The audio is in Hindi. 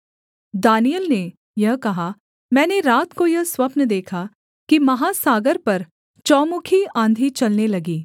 दानिय्येल ने यह कहा मैंने रात को यह स्वप्न देखा कि महासागर पर चौमुखी आँधी चलने लगी